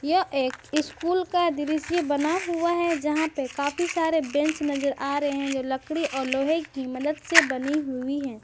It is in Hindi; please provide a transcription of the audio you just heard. यह एक स्कूल का दृश्य बना हुआ है यहां पे काफी सारे बेंच नजर आ रहे हैं जो लकड़ी और लोहे की मदद से बनी हुई हैं।